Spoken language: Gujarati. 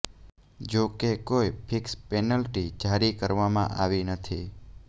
જો કે કોઈ ફિક્સ પેનલ્ટી જારી કરવામાં આવી નથી